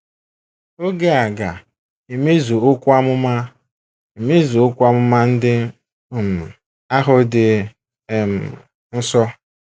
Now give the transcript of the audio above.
Oge a ga - emezu okwu amụma emezu okwu amụma ndị um ahụ dị um nso.